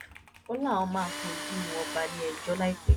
ó láwọn máa fojú wọn balẹẹjọ láìpẹ